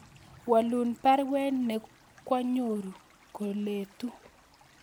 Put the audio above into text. Walun baruet nekwonyoru koletu